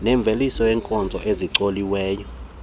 nemveliso yeenkozo ezicoliweyo